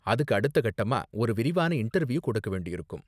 அதுக்கு அடுத்த கட்டமா ஒரு விரிவான இன்டர்வியூ கொடுக்க வேண்டியிருக்கும்.